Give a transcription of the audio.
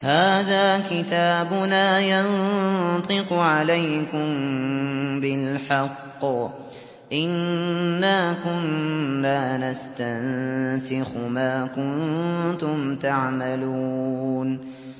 هَٰذَا كِتَابُنَا يَنطِقُ عَلَيْكُم بِالْحَقِّ ۚ إِنَّا كُنَّا نَسْتَنسِخُ مَا كُنتُمْ تَعْمَلُونَ